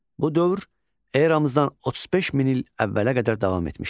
Bu dövr eramızdan 35 min il əvvələ qədər davam etmişdi.